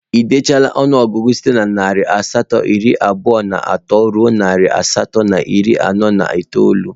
Ị dechala ọnụọgụgụ site na narị asatọ iri abụọ na atọ ruo narị asatọ na iri anọ na itoolu?